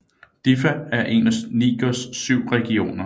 Diffa er en af Nigers syv regioner